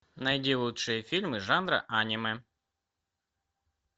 найди лучшие фильмы жанра аниме